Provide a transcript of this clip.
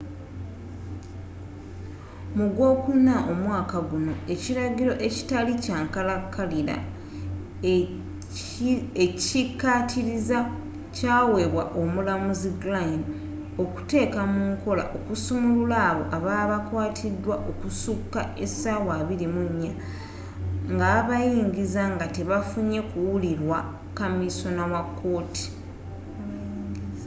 mu gw'okuna omwaaka gunno ekiragiro ekitali kyankalakalira ekyikaatiriza kyaweebwa omulamuzi glynn okuteeka munkola okusumulula abo ababa bakwatidwa okusuka esaawa 24 nga babayingiza nga tebafunye kuwulirwa kamisona wakooti